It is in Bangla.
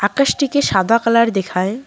আকাশটিকে সাদা কালার দেখায়।